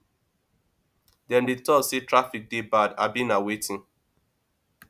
dem dey talk say traffic dey bad abi na wetin